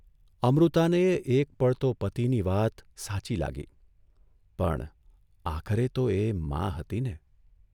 અમૃતાનેય એક પળ તો પતિની વાત સાચી લાગી, પણ આખરે તો એ મા હતી ને !